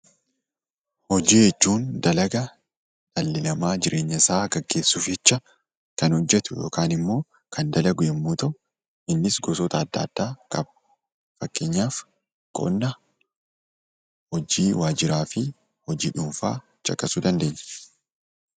Hojii jechuun dalaga dhalli nama jireenya isaa gaggeessuuf jecha kan hojjetu yookaan ammoo kan dalagu yemmuu ta'u, innis gosoota adda addaa ofkeessatti qaba. Fakkeenyaaf qonna, hojii waajjiraafi hojii dhuunfaa caqasuu dandeenya.